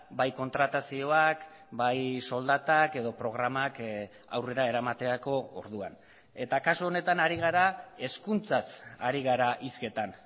bai kontratazioak bai soldatak edo programak aurrera eramaterako orduan eta kasu honetan ari gara hezkuntzaz ari gara hizketan